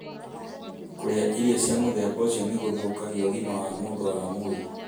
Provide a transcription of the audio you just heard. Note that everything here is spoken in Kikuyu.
Kũrĩa irio cia mũthemba ũcio nĩ gũthũkagia ũgima wa mũndũ wa mwĩrĩ.